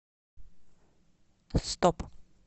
стоп